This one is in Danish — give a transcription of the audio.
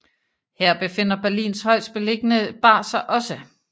Her befinder Berlins højestbeliggende bar sig også